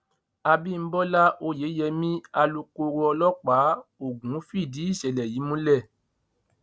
àbímọlá oyèyẹmí alūkoro ọlọ́pàá ògùn fìdí ìṣẹ̀lẹ̀ yìí múlẹ̀